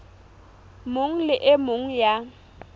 mong le e mong ya